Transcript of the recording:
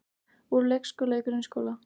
Úr leikskóla í grunnskóla